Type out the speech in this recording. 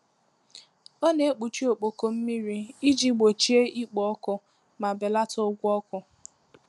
Ọ na-ekpuchi ọkpọkọ mmiri iji gbochie ikpo ọkụ ma belata ụgwọ ọkụ.